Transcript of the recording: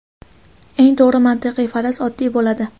Eng to‘g‘ri mantiqiy faraz oddiy bo‘ladi.